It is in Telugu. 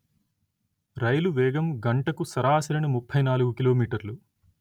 రైలు వేగం గంటకు సరాసరిన ముప్పై నాలుగు కిలో మీటర్లు